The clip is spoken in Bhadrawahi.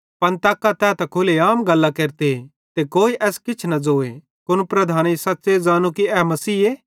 पन तक्का तै त खुले आम गल्लां केरते ते कोई एस किछ न ज़ोए कुन लीडरेईं सच़्च़े सच़ ज़ानू कि ए मसीहे